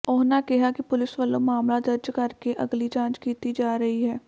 ਉਹਨਾਂ ਕਿਹਾ ਕਿ ਪੁਲਿਸ ਵਲੋਂ ਮਾਮਲਾ ਦਰਜ਼ ਕਰਕੇ ਅਗਲੀ ਜਾਂਚ ਕੀਤੀ ਜਾ ਰਹੀ ਹੈ